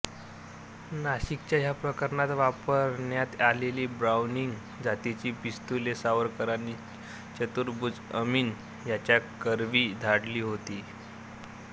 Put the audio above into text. नाशिकच्या ह्या प्रकरणात वापरण्यात आलेली ब्राउनिंग जातीची पिस्तुले सावरकरांनी चतुर्भुज अमीन ह्याच्याकरवी धाडली होती